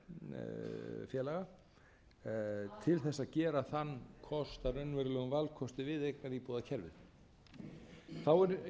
fyrir fjármögnun búseturéttarfélaga til þess að gera þann kost að raunverulegum valkosti við eignaríbúðakerfið þá er